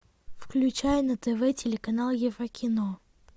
включай на тв телеканал еврокино